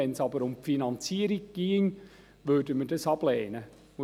Sollte es aber um die Finanzierung gehen, würden wir dies ablehnen.